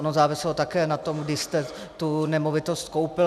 Ono záviselo také na tom, kdy jste tu nemovitost koupil.